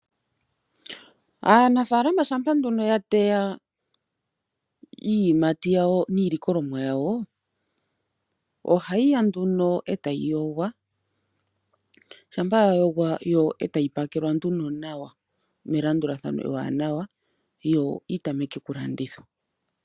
Aanafalama shampa nduno ya teya iiyimati yawo niilikolomwa yawo ohayi ya nduno etayi yogwa, shampa owala ya yogwa otayi pakelwa nduno nawa melandulathano ewanawa yo yitameke oku landithwa.